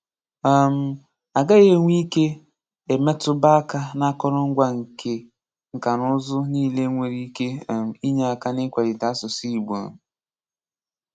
um A gaghị enwe ike e metụba aka n'akọrọngwa nka na ụzọ niile nwere ike um inye aka n'ikwalite asụsụ igbo um